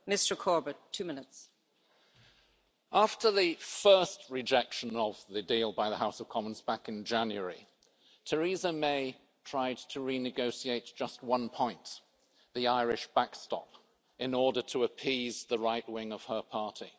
Madam President, after the first rejection of the deal by the House of Commons back in January, Theresa May tried to renegotiate just one point, the Irish backstop, in order to appease the right wing of her party.